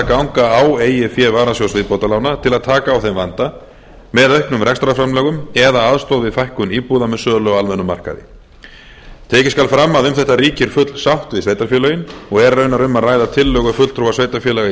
ganga á eigið fé varasjóðs viðbótarlána til að taka á þeim vanda með auknum rekstrarframlögum eða aðstoð við fækkun íbúða með sölu á almennum markaði tekið skal fram að um þetta ríkir full sátt við sveitarfélögin og er raunar um að ræða tillögu fulltrúa sveitarfélaga í